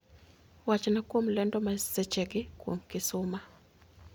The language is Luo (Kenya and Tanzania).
Wachna kuom lendo masechegi kuom kisuma